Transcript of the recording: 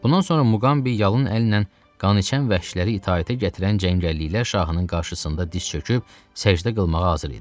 Bundan sonra Muqambi yalın əllə qan içən vəhşiləri itaətə gətirən cəngəlliklər şahının qarşısında diz çöküb səcdə qılmağa hazır idi.